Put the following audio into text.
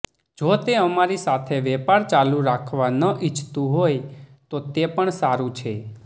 જો તે અમારી સાથે વેપાર ચાલુ રાખવા ન ઇચ્છતું હોય તો તે પણ સારૂ છે